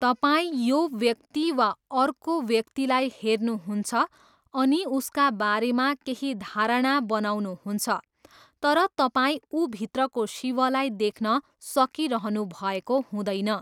तपाईँ यो व्यक्ति वा अर्को व्यक्तिलाई हेर्नुहुन्छ अनि उसका बारेमा केही धारणा बनाउनुहुन्छ तर तपाईँ ऊभित्रको शिवलाई देख्न सकिरहनुभएको हुँदैन।